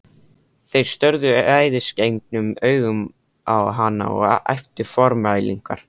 Þeir störðu æðisgengnum augum á hann og æptu formælingar.